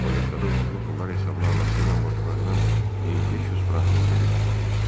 Ruletkada udduğu pullar hesabına anası ilə bacılarının 1500 frankını geri qaytarmışdı.